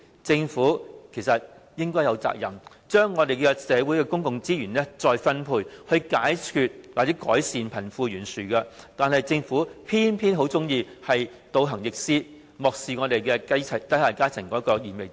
政府有責任將社會的公共資源再分配，解決或改善貧富懸殊，但卻偏偏喜歡倒行逆施，漠視低下階層的燃眉之急。